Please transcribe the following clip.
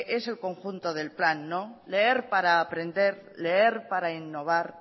es el conjunto del plan leer para aprender leer para innovar